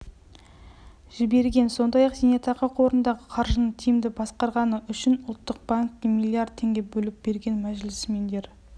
жіберген сондай-ақ зейнетақы қорындағы қаржыны тиімді басқарғаны үшін ұлттық банкке млрд теңге бөліп берген мәжілісмендер